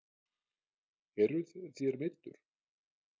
Eruð þér meiddur?